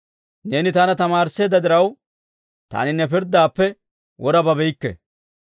Neeni taana tamaarisseedda diraw, taani ne pirddaappe wora babeykke.